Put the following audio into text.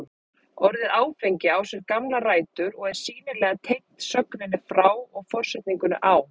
Orðið áfengi á sér gamlar rætur og er sýnilega tengt sögninni fá og forsetningunni á.